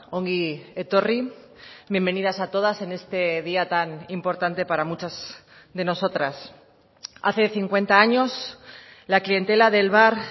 ongi etorri bienvenidas a todas en este día tan importante para muchas de nosotras hace cincuenta años la clientela del bar